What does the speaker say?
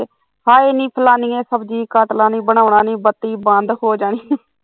ਹਾਏ ਨੀ ਫਲਾਣੀਏ ਨੀ ਸਬਜ਼ੀ ਕੱਟ ਲਾ ਬਣਾਉਣ ਨੀ ਬੱਤੀ ਬੰਦ ਹੋ ਜਾਨੀ